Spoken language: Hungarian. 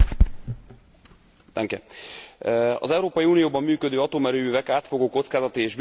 Az Európai Unióban működő atomerőművek átfogó kockázati és biztonsági értékelése sikeresen lezárult.